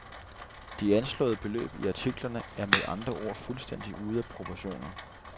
De anslåede beløb i artiklerne er med andre ord fuldstændig ude af proportioner.